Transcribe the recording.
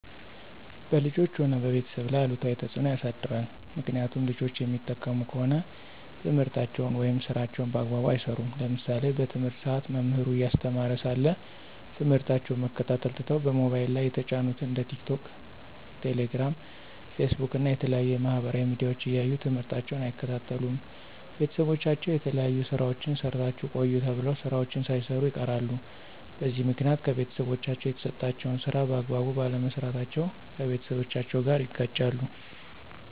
በልጆች ሆነ በቤተሰብ ላይ አሉታዊ ተፅዕኖ ያሳድራል። ምክኒያቱም ልጆች የሚጠቀሙ ከሆነ ትምህርታቸውን ወይም ስራቸውን በአግባቡ አይሰሩም። ለምሳሌ በትምህርት ሰአት መምህሩ እያስተማረ ሳለ ትምህርታቸውን መከታተል ትተው በሞባይል ላይ የተጫኑትን እንደ ቲክቶክ፣ ቴሌግራም፣ ፌስቡክ እና የተለያዩ የማህበራዊ ሚዲያዎች እያዩ ትምህርታቸውን አይከታተሉም። ቤተሰቦቻቸው የተለያዩ ስራዎችን ሰርታችሁ ቆዩ ተብለው ስራዎችን ሳይሰሩ ይቀራሉ። በዚህ ምክኒያት ከቤተሰቦቻቸው የተሰጣቸውን ስራ በአግባቡ ባለመስራታቸው ከቤተሰቦቻቸው ጋር ይጋጫሉ።